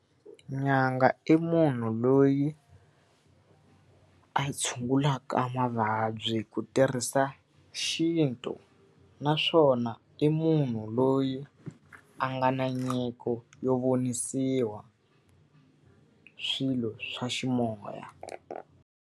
Nyanga i munhu loyi a tshungulaka mavabyi hi ku tirhisa xintu, naswona i munhu loyi a nga na nyiko yo vonisiwa swilo swa ximoya.